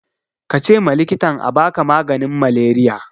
kace ma likitan abaka maganin maleriya